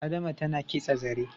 Adama tana kitsa zare